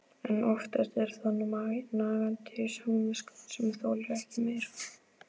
En oftast er það nagandi samviskan sem þolir ekki meir.